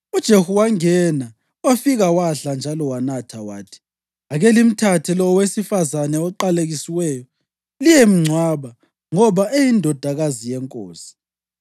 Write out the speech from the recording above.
UJehu wangena wafika wadla njalo wanatha. Wathi, “Ake limthathe lo owesifazane oqalekisiweyo liyemngcwaba, ngoba eyindodakazi yenkosi.”